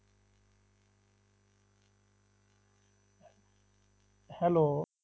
Hello